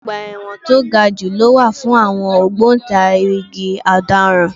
Ọgbà ẹ̀wọ̀n to ga jù lọ wà fún àwọn ògbòǹtarìgì Ọ̀daràn.